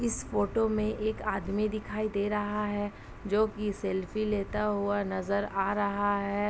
इस फोटो में एक आदमी दिखाई दे रहा है। जो कि सेल्फी लेता हुआ नजर आ रहा है।